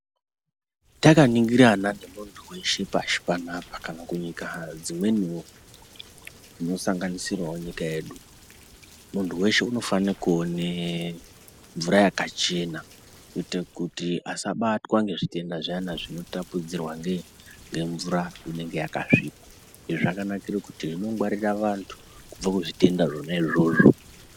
Takaningirana nemuntu weshe pashi panapa, kana kunyika dzimweniwo dzinosanganisirawo nyika yedu, muntu weshe unofana kuone mvura yakachena kuite kuti asabatwa ngezvitenda zviyana zvinotapudzirwa ngei, ngemvura inenge yakasvipa. Izvi zvakanakira kuti zvinongwarira vantu kubve kuzvitenda zvona izvozvo.